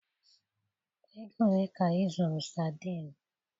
Ego ole ka ị zụrụ sadinu?